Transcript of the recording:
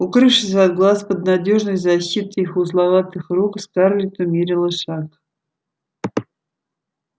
укрывшись от глаз под надёжной защитой их узловатых рук скарлетт умерила шаг